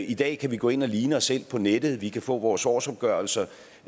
i dag kan vi gå ind og ligne os selv på nettet vi kan få vores årsopgørelser